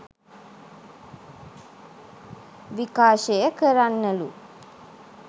විකාශය කරන්නලු